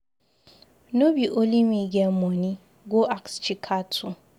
No be only me get money. Go ask Chika too.